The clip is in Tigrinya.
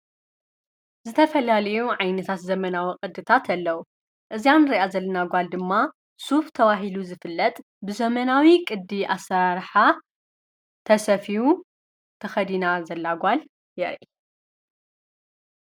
ዝተፈላልዩ ዓይንታት ዘመናዊ ቕድታት ኣለዉ እዚያ ንርእያ ዘለና ጓል ድማ ሱፍ ተባ ሂሉ ዝፍለጥ ብዘመናዊ ቅዲ ኣሠራርሓ ተሰፊዩ ተኸዲና ዘላ ጓል የርኢ።